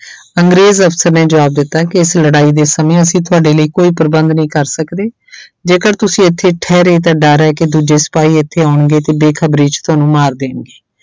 ਅੰਗਰੇਜ਼ ਅਫ਼ਸਰ ਨੇ ਜ਼ਵਾਬ ਦਿੱਤਾ ਕਿ ਇਸ ਲੜਾਈ ਦੇ ਸਮੇਂ ਅਸੀਂ ਤੁਹਾਡੇ ਲਈ ਕੋਈ ਪ੍ਰਬੰਧ ਨਹੀਂ ਕਰ ਸਕਦੇ ਜੇਕਰ ਤੁਸੀਂ ਇੱਥੇ ਠਹਿਰੇ ਤਾਂ ਡਰ ਹੈ ਕਿ ਦੂਜੇ ਸਿਪਾਹੀ ਇੱਥੇ ਆਉਣਗੇ ਤੇ ਬੇਖ਼ਬਰੀ 'ਚ ਤੁਹਾਨੂੰ ਮਾਰ ਦੇਣਗੇ।